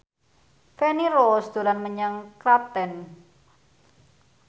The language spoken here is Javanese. Feni Rose dolan menyang Klaten